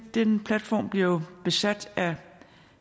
den platform bliver jo besat af